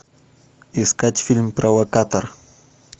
искать фильм провокатор